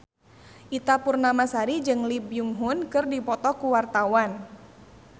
Ita Purnamasari jeung Lee Byung Hun keur dipoto ku wartawan